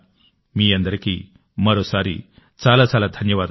మీ అందరికీ మరోసారి చాలా చాలా ధన్యవాదాలు